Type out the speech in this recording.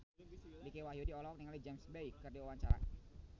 Dicky Wahyudi olohok ningali James Bay keur diwawancara